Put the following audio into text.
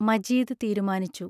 മജീദ് തീരുമാനിച്ചു.